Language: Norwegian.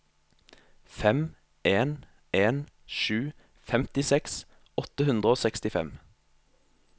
fem en en sju femtiseks åtte hundre og sekstifem